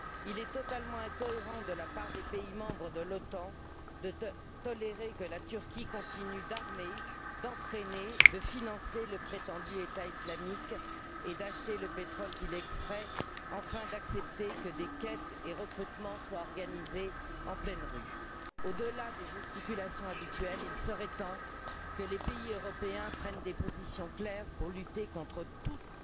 Il est totalement incohérent de la part des pays membres de l'OTAN de tolérer que la Turquie continue d'armer, d'entraîner, de financer le prétendu État islamique et d'acheter le pétrole qu'il extrait, enfin d'accepter que des quêtes et recrutements soient organisés en pleine rue. Au delà des gesticulations habituelles, il serait temps que les pays européens prennent des positions claires pour lutter contre toutes